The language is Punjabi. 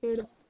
ਫਿਰ